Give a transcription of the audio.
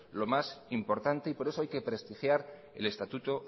lo más importante y por eso hay que prestigiar el estatuto